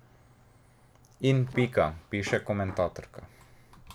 In pika, piše komentatorka.